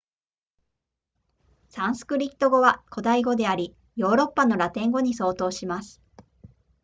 サンスクリット語は古代語でありヨーロッパのラテン語に相当します